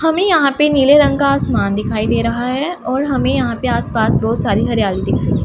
हमे यहां पे नीले रंग का आसमान दिखाई दे रहा है और हमे यहां पे आस पास बहोत सारी हरियाली दिख रही--